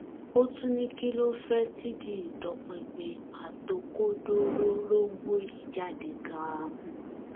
ó tún ní kí ló fẹẹ tìdí ìtọpinpin àtòkodororógbó yìí jáde ganan